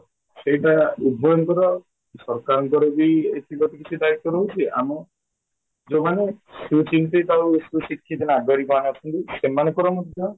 ସେଇଟା ଉଭୟଙ୍କର ସରକାରଙ୍କର ବି କିଛି ତ କିଛି ଦାଇତ୍ୱ ରହୁଛି ଆମ ଯୋଉମାନେ ସୁଚିନ୍ତିତ ଆଉ ସୁଶିକ୍ଷିତ ନାଗରିକ ମାନେ ଅଛନ୍ତି ସେମାଙ୍କର ମଧ୍ୟ